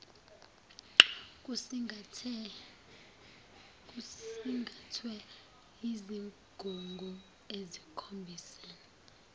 kusingathwe yizigungu ezikhombise